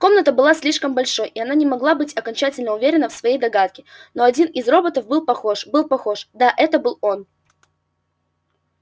комната была слишком большой и она не могла быть окончательно уверена в своей догадке но один из роботов был похож был похож да это был он